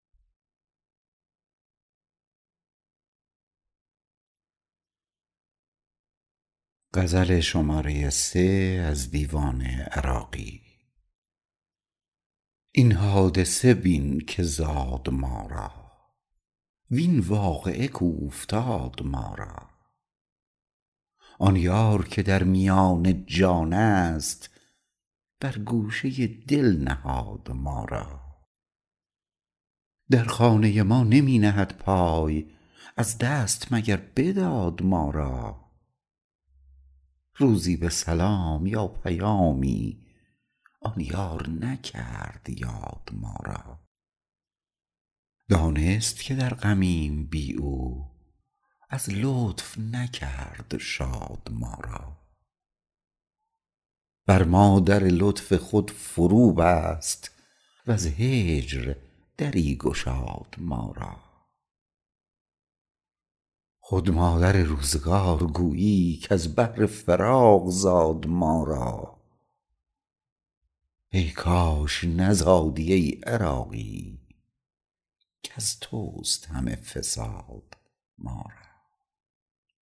این حادثه بین که زاد ما را وین واقعه کاوفتاد ما را آن یار که در میان جان است بر گوشه دل نهاد ما را در خانه ما نمی نهد پای از دست مگر بداد ما را روزی به سلام یا پیامی آن یار نکرد یاد ما را دانست که در غمیم بی او از لطف نکرد شاد ما را بر ما در لطف خود فرو بست وز هجر دری گشاد ما را خود مادر روزگار گویی کز بهر فراق زاد ما را ای کاش نزادی ای عراقی کز توست همه فساد ما را